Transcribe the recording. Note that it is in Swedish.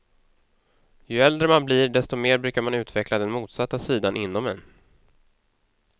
Ju äldre man blir desto mer brukar man utveckla den motsatta sidan inom en.